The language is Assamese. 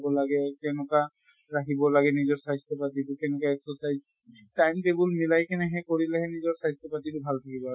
খাব লাগে কেনকা ৰাখিব লাগে নিজৰ স্বাস্থ্য় পাতি টো কেনেকা exercise time table মিলাই কিনে হেই কৰিলেহে নিজৰ স্বাস্থ্য় পাতি টো ভাল থাকিব আৰু।